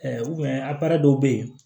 a dɔw bɛ ye